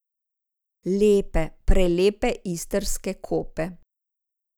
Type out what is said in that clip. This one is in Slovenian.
Lepe, prelepe istrske kope.